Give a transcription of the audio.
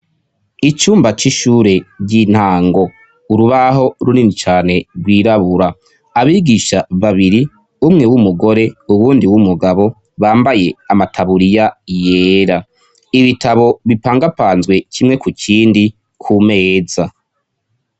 Icumba c'ishure ry'intango. Urubaho runini cane rwirabura ,abigisha babiri umwe w'umugore uwundi w'umugabo bambaye amataburiya yera. Ibitabo bipangapanzwe kimwe ku kindi ku meza..